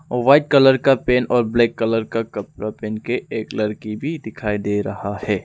White colour का pant और black colour का कपड़ा पहन के एक लड़की भी दिखाई दे रहा है।